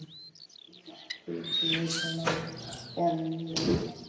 Litirnir liggja lárétt og er rauður efstur, næst kemur blár og hvítur er neðstur.